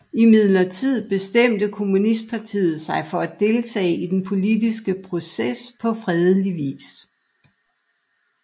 Imidlertid bestemte kommunistpartiet sig for at deltage i den politiske proces på fredelig vis